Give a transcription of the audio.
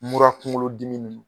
mura kuŋolodimi ni